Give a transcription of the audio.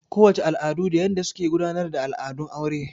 Ko wace al'adu da yanda suke gudanar da al'adun aure.